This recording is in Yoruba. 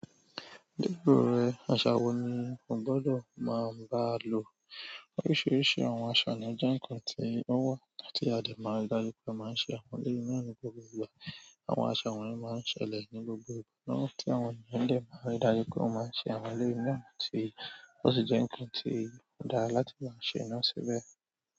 Níbi òrè, àṣà wo ni o gbọ́dọ̀ máa bá lò? Oríṣiríṣi àwọn àṣà ni ó jẹ́ ǹkan tí ó wà tí a lè máa darí pé a máa ń ṣe àwọn orí náà ní gbogbo ìgbà. Àwọn àṣà wọ̀nyí máa ń ṣẹlẹ̀ ní gbogbo ìgbà, tí àwọn ènìyàn lè máa rí dájú pé a máa ń ṣe àwọn eleyi náà tí ó sì jẹ́ ǹkan tí ó dára láti máa ṣe iná síbẹ̀.